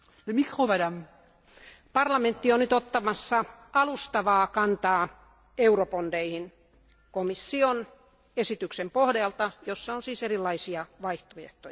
Arvoisa puhemies, parlamentti on nyt ottamassa alustavaa kantaa eurobondeihin komission esityksen pohjalta, jossa on siis erilaisia vaihtoehtoja.